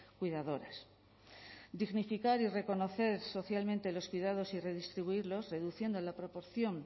cuidadoras dignificar y reconocer socialmente los cuidados y redistribuirlos reduciendo la proporción